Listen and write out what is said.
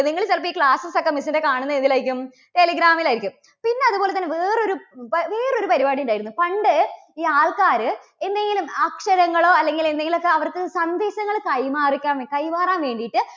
നിങ്ങള് ചിലപ്പോൾ ഈ classes ഒക്കെ miss ന്റെ കാണുന്നത് എന്തിലായിരിക്കും? telegram ൽ ആയിരിക്കും. പിന്നെ അതുപോലെതന്നെ വേറൊരു, വേറൊരു പരിപാടി ഉണ്ടായിരുന്നു. പണ്ട് ഈ ആൾക്കാര് എന്തെങ്കിലും അക്ഷരങ്ങളോ അല്ലെങ്കിൽ എന്തെങ്കിലുമൊക്കെ അവർക്ക് സന്ദേശങ്ങൾ കൈമാറിക്കാൻ~ കൈമാറാൻ വേണ്ടിയിട്ട്